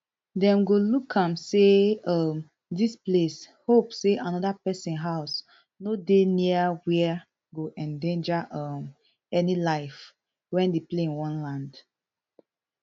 dem go look am say um dis place hope say anoda pesin house no dey near where go endanger um any life wen di plane wan land